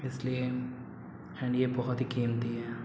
इसलिए एंड ये बोहोत बहु ही कीमती है।